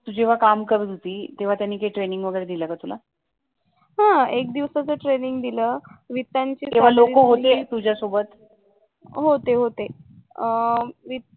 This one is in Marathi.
तू जेव्हा काम करत होती तेव्हा त्यांनी काही ट्रेनिंग वगैरे दिल का तुला? हां लोक होती ना तुझ्या सोबत